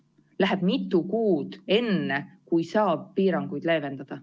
Läheb mitu kuud, enne kui saab piiranguid leevendada.